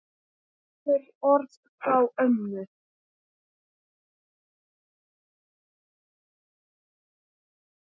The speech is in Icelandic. Nokkur orð frá ömmu.